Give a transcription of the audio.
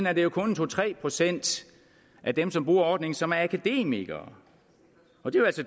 er det kun to tre procent af dem som bruger ordningen som er akademikere